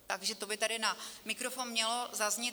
Takže to by tady na mikrofon mělo zaznít.